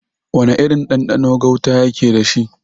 Wana irin ɗanɗano gauta yake dashi?